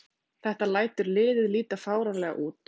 Þetta lætur liðið líta fáránlega út